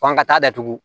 F'an ka taa datugu